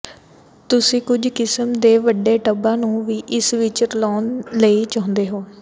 ਤੁਸੀਂ ਕੁਝ ਕਿਸਮ ਦੇ ਵੱਡੇ ਟੱਬਾਂ ਨੂੰ ਵੀ ਇਸ ਵਿਚ ਰਲਾਉਣ ਲਈ ਚਾਹੁੰਦੇ ਹੋ